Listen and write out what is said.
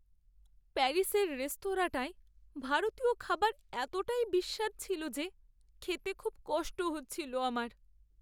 প্যারিসের রেস্তোরাঁটায় ভারতীয় খাবার এতটাই বিস্বাদ ছিল যে খেতে খুব কষ্ট হচ্ছিল আমার।